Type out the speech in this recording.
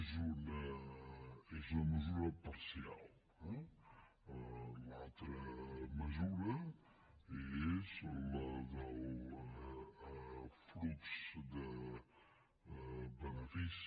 és una mesura parcial eh l’altra mesura és la del flux de benefici